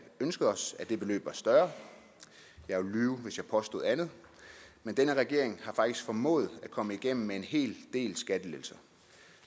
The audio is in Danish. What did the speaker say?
ønsket os at det beløb var større jeg ville lyve hvis jeg påstod andet men denne regering har faktisk formået at komme igennem med en hel del skattelettelser